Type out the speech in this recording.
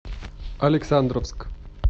александровск